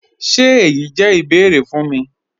Ṣé èyí jẹ́ ìbẹ̀ẹ̀rẹ̀ fún mí?